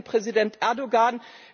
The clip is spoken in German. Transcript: Ich rede von Präsident Erdoğan.